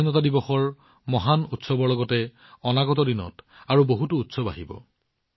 স্বাধীনতা দিৱসৰ মহান উৎসৱৰ লগতে অনাগত দিনত আৰু বহুতো উৎসৱ আহি আছে